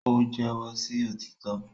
o jẹwọ sí òtítọ